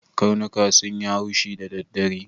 Karnuka sun yi haushi da daddare.